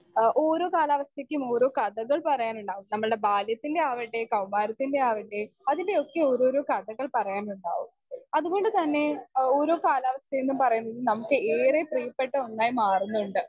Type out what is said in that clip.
speaker 2 എഹ് ഓരോ കാലാവസ്ഥയ്ക്കും ഓരോ കഥകൾ പറയാനുണ്ടാവും നമ്മൾടെ ബാല്യത്തിന്റെ ആവട്ടെ കൗമാരത്തിന്റെ ആവട്ടെ അതിന്റെയൊക്കെ ഓരോരോ കഥകൾ പറയാനുണ്ടാവും അതുകൊണ്ട് തന്നെ എഹ് ഓരോ കാലാവസ്ഥയും ന്ന് പറയുന്നത് നമ്മുക്ക് ഏറെ പ്രിയപ്പെട്ട ഒന്നായി മാറുന്നിണ്ട്